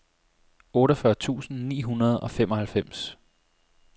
otteogfyrre tusind ni hundrede og femoghalvfems